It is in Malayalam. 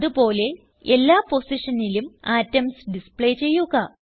അത് പോലെ എല്ലാ പൊസിഷനിലും അറ്റോംസ് ഡിസ്പ്ലേ ചെയ്യുക